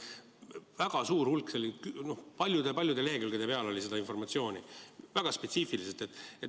Väga suur hulk, paljude-paljude lehekülgede peal oli seda informatsiooni, väga spetsiifiliselt.